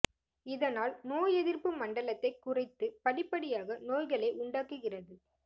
இதனால் நோய் எதிர் ப்பு மண்டலத்தை குறைத்து படிப்படியாக நோய்களை உண்டாக்குகிறது